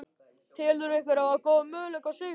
Telurðu ykkur hafa góða möguleika á sigri?